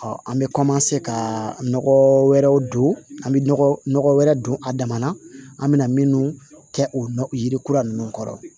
an bɛ ka nɔgɔ wɛrɛw don an bɛ nɔgɔ wɛrɛ don a dama na an bɛna minnu kɛ o yiri kura ninnu kɔrɔ